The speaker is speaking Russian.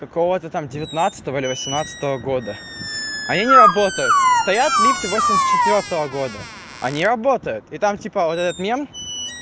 кого-то там девятнадцатого или восемнадцатого года они не работают стоят лифты восемьдесят четвёртого года они работают и там типа вот этот мем